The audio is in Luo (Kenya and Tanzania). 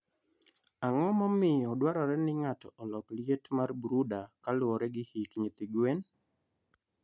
Ang'o momiyo dwarore ni ng'ato olok liet mar brooder kaluwore gi hik nyithi gwen?